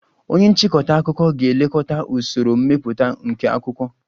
Onye nchịkọta akụkọ ga-elekọta usoro mmepụta nke akwụkwọ